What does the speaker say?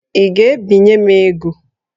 Ị ga-ebinye m ego?